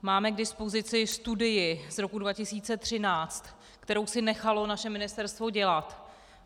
Máme k dispozici studii z roku 2013, kterou si nechalo naše ministerstvo dělat.